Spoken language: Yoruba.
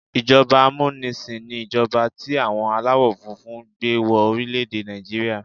Ìjọba amúnisìn ni ìjọba tí àwọn aláwọ̀ funfun gbé wọ orílẹ̀-èdè Nàìjíríà.